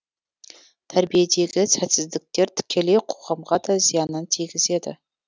тәрбиедегі сәтсіздіктер тікелей қоғамға да зиянын тигізеді